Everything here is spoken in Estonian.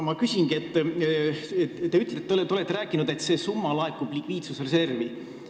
Ma küsingi: te olete öelnud, et need 68 miljonit laekuvad likviidsusreservi.